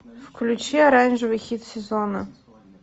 включи оранжевый хит сезона